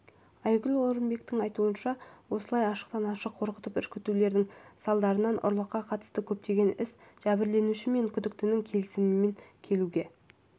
айгүл орынбектің айтуынша осылай ашықтан-ашық қорқытып-үркітулердің салдарынан ұрлыққа қатысты көптеген іс жәбірленуші мен күдіктінің келісімге келуі